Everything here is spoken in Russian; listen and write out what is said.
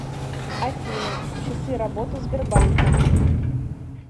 афина часы работы сбербанка